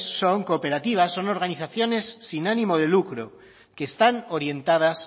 son cooperativas son organizaciones sin ánimo de lucro que están orientadas